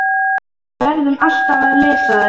Og við verðum alltaf að lesa þær.